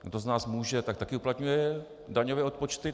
Kdo z nás může, tak také uplatňuje daňové odpočty.